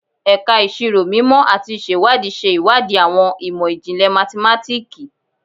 Ẹka Iṣiro Mimọ ati Iṣewadii ṣe iwadii awọn imọ-jinlẹ mathematiki